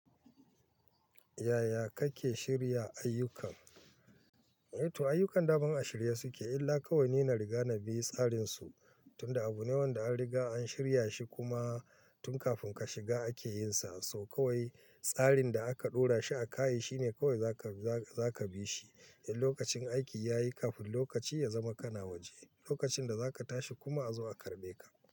Yaya kake shirya ayyukan? Eh to ayyukan daman a shirye suke, illa kawai ni na riga na bi tsarinsu. Tunda abu ne wanda an riga an shirya shi kuma tun kafin ka shiga ake yin sa. So kawai tsarin da aka ɗora shi a ka yi shi ne kawai za ka, za ka bi shi. Idan lokacin aiki ya yi kafin lokaci ya zama ka na waje, lokacin da za ka tashi kuma a zo a karɓe ka.